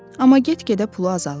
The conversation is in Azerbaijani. Amma get-gedə pulu azalırdı.